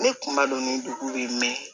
Ne kun b'a dɔn ni dugu ye